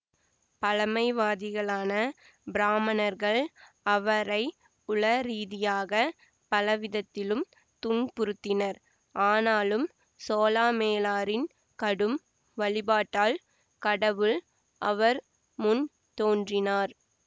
பழமைவாதிகளான பிராமணர்கள் அவரை உளரீதியாகப் பலவிதத்திலும் துன்புறுத்தினர் ஆனாலும் சோளாமேளரின் கடும் வழிபாட்டால் கடவுள் அவர் முன் தோன்றினார்